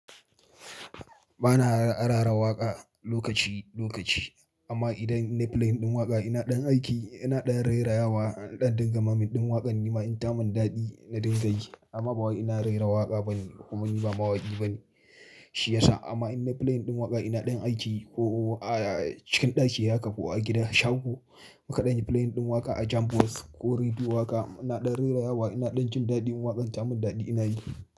Ba na rera waƙa lokaci -lokaci amma idan na yi playin ɗin waƙa ina ɗan aiki ina ɗan rerawa inɗan dinga maiming ɗin waƙar nima in ta yi min daɗi na dinga yi amma ba wai ina rera waƙa ba ne kuma ni ba mawaki ba ne shi ya sa amma idan nayi playin ɗin waƙa ina ɗan aiki ko a cikin ɗaki haka ko a gida shago nakan dan yi playin ɗin waƙa a jambo box ko rediyo waƙa ina ɗann rerayawa ina ɗan jin daɗi idan waƙar ta mun daɗi ina yi.